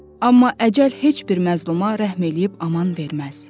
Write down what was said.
Amma əcəl heç bir məzluma rəhm eləyib aman verməz.